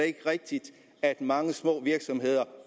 ikke rigtigt at mange små virksomheder